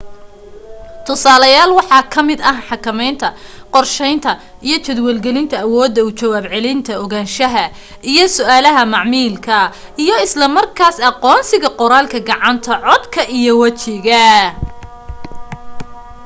tusaaleyaal waxaa ka mid ah xakamaynta qorsheynta iyo jadwal gelinta awooda u jawaab celinta ogaanshaha iyo su'aalaha macaamilka iyo isla markaas aqoonsiga qoraalka gacant codka iyo wajiga